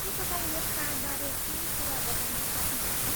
के तपाईँ यस चाडबारे केही कुरा बताउन सक्नुहुन्छ?